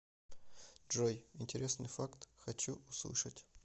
джой интересный факт хочу услышать